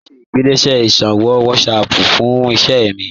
Mo n ṣẹ̀ igbásílẹ̀ iṣòwò WhatsApp fún ìṣẹ̀ mi